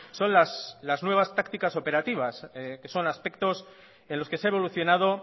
son las nuevas tácticas operativas que son aspectos en los que se ha evolucionado